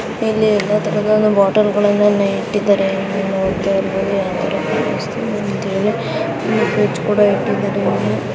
ಇಲ್ಲಿ ಬೊತರದ ಬಾಟಲಗಳನ್ನು ಇಟ್ಟಿದ್ದಾರೆ.